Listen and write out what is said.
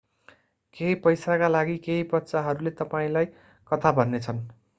केही पैसाका लागि केहि बच्चाहरूले तपाईंलाई कथा भन्नेछन्